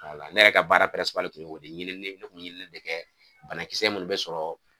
Wala ne yɛrɛ ka baara tun y'o de ɲinini ne kun ɲinini de kɛ banakisɛ munnu bɛ sɔrɔ